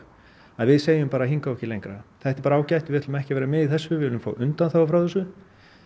að við segjum bara hingað og ekki lengra þetta er bara ágætt við ætlum ekki að vera með í þessu við viljum fá undanþágu frá þessu